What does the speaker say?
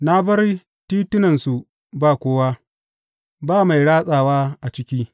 Na bar titunansu ba kowa, ba mai ratsawa a ciki.